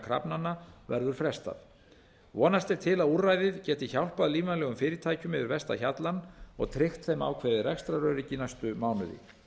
krafnanna verður frestað vonast er til að úrræðið geti hjálpað lífvænlegum fyrirtækjum yfir versta hjallann og tryggt þeim ákveðið rekstraröryggi næstu mánuði